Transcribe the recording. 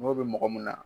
N'o bɛ mɔgɔ min na